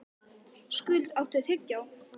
Skuld, áttu tyggjó?